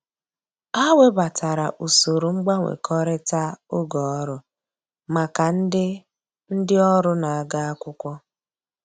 Ha webatara usoro mgbanwekọrịta oge ọrụ maka ndị ndị ọrụ na-aga akwụkwọ